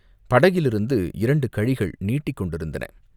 படகிலிருந்து இரண்டு கழிகள் நீட்டிக் கொண்டிருந்தன.